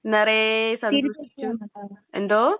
നിറയെ എന്തോ?